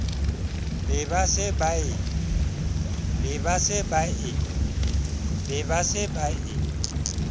be ba se ba e